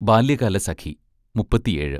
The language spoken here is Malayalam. ബാല്യകാലസഖി മുപ്പത്തിയേഴ്